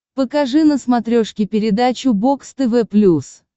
покажи на смотрешке передачу бокс тв плюс